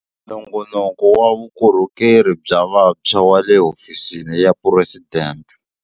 Nongonoko wa Vukorhokeri bya Vantshwa wa le Hofisini ya Phuresidente.